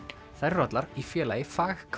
þær eru allar í Félagi